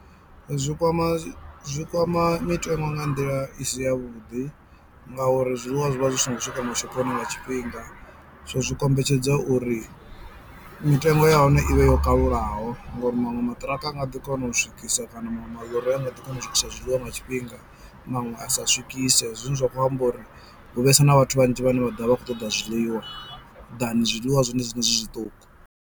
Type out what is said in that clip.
Zwi kwama zwi zwi kwama mitengo nga nḓila i si yavhuḓi, ngauri zwiḽiwa zwi vha zwi songo swika mashoponi nga tshifhinga so zwi kombetshedza uri mitengo ya hone ivhe yo kalulaho ngori maṅwe maṱiraka a nga ḓi kona u swikisa kana maṅwe maḽori a nga ḓi kona u swikisa zwiḽiwa nga tshifhinga maṅwe a sa swikise zwine zwa kho amba uri hu vhesa na vhathu vhanzhi vhane vha ḓovha vha kho ṱoḓa zwiḽiwa than zwiḽiwa zwone zwiṋe zwi zwiṱuku.